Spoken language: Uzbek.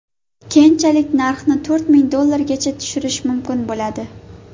Keyinchalik narxni to‘rt ming dollargacha tushirish mumkin bo‘ladi.